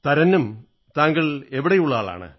തരന്നും താങ്കൾ എവിടെയുള്ള ആളാണ്